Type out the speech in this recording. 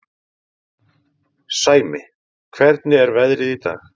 Sæmi, hvernig er veðrið í dag?